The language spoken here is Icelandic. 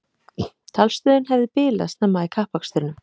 Talstöðin hefði bilað snemma í kappakstrinum